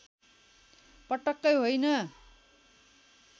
पटक्कै होइन